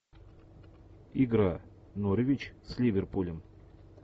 игра норвич с ливерпулем